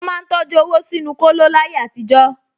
Wọ́n máa ń tọjú owó sínú kóló láyé àtijọ́